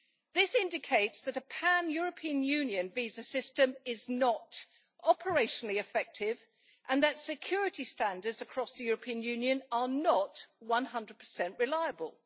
This indicates that a pan European Union visa system is not operationally effective and that security standards across the European Union are not 100 reliable.